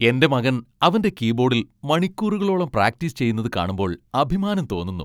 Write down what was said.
എൻ്റെ മകൻ അവൻ്റെ കീബോഡിൽ മണിക്കൂറുകളോളം പ്രാക്ടീസ് ചെയ്യുന്നത് കാണുമ്പോൾ അഭിമാനം തോന്നുന്നു.